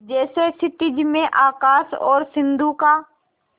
जैसे क्षितिज में आकाश और सिंधु का